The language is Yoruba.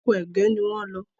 Ọkọ ẹgẹ ní wón ló.